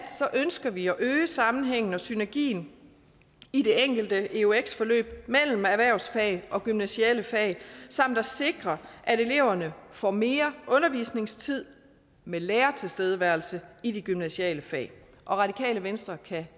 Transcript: ønsker vi at øge sammenhængen og synergien i det enkelte eux forløb mellem erhvervsvalg og gymnasiale fag samt at sikre at eleverne får mere undervisningstid med lærertilstedeværelse i de gymnasiale fag radikale venstre kan